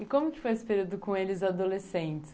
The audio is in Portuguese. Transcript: E como que foi esse período com eles adolescentes?